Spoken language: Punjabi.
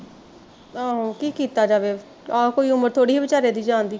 ਆਹੋ ਕੀ ਕੀਤਾ ਜਾਵੇ, ਆਹੋ ਕੋਈ ਉਮਰ ਥੋੜੇ ਸੀ ਵਿਚਾਰੇ ਦੇ ਜਾਣ ਦੀ